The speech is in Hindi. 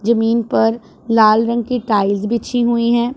जमीन पर लाल रंग की टाइल्स बिछी हुई है।